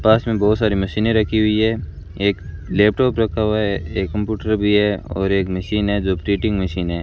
पास में बहुत सारी मशीनें रखी हुई है एक लैपटॉप रखा हुआ है एक कंप्यूटर भी है और एक मशीन है जो प्रिंटिंग मशीन है।